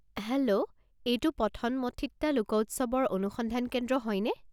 Hello, এইটো পথনমঠিত্তা লোক উৎসৱৰ অনুসন্ধান কেন্দ্ৰ হয়নে?